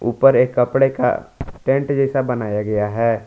ऊपर एक कपड़े का टेंट जैसा बनाया गया है।